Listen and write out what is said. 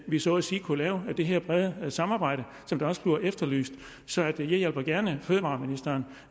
vi så at sige kunne lave det her brede samarbejde som også bliver efterlyst så jeg hjælper gerne fødevareministeren